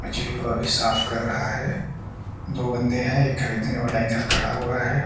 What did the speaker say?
मछली को अभी साफ कर रहा है दो बन्दे है एक खरीदने वाला इधर खड़ा हुआ है ।